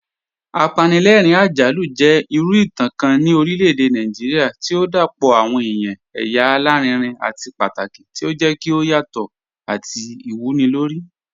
Apànlẹ̀rìn-àjàlù jẹ̀ ìrù ìtàn kàn ni orílẹ̀-èdè Nàìjíríà tí o dápọ̀ awọn èyà àlàrìnrìn àti pátàkì, tí o jẹ̀ kí o yàtọ̀ àti ìwúnilórí.